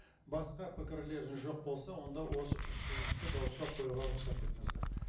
басқа пікірлеріңіз жоқ болса онда осы ұсынысты дауысқа қоюға рұқсат етіңіздер